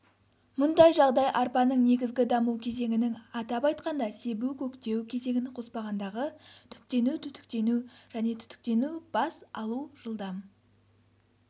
мұндай жағдай арпаның негізгі даму кезеңінің атап айтқанда себу-көктеу кезеңін қоспағандағы түптену-түтіктену және түтіктену-бас алу жылдам